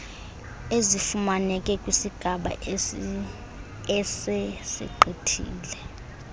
ezifumaneke kwisigaba esesigqithile